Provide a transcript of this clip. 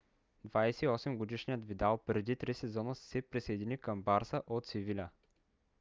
28-годишният видал преди три сезона се присъедини към барса от севиля